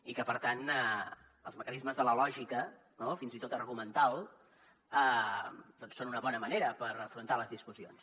i que per tant els mecanismes de la lògica no fins i tot argumental doncs són una bona manera per afrontar les discussions